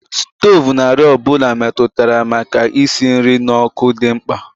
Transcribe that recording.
Stovu na àrịá ọ bụla metụtara maka isi nri n'ọkụ dị mkpa